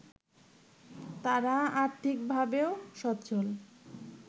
তারা আর্থিকভাবেও স্বচ্ছল